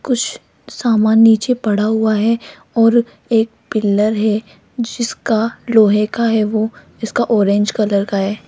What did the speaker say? कुछ सामान नीचे पड़ा हुआ है और एक पिलर है जिसका लोहे का है वो इसका ऑरेंज कलर का है।